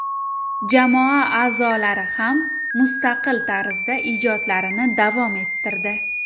Jamoa a’zolari ham mustaqil tarzda ijodlarini davom ettirdi.